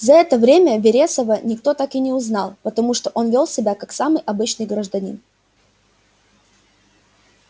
за это время вересова никто так и не узнал потому что он вёл себя как самый обычный гражданин